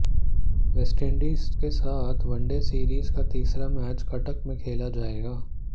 West Indies के साथ one day series का तीसरा मैच कटक में खेला जाएगा